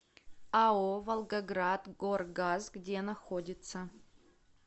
ао волгоградгоргаз где находится